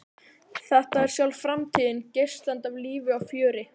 Þetta er sjálf framtíðin, geislandi af lífi og fjöri.